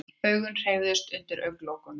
Augun hreyfðust undir augnalokunum.